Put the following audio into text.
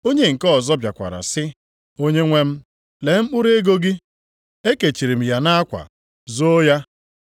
“Onye nke ọzọ bịakwara sị, ‘Onyenwe m, lee mkpụrụ ego gị. Ekechiri m ya nʼakwa, zoo ya.